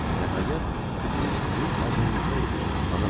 Nəhayət, siz rus adını rüsvay eləyirsiz, xanım.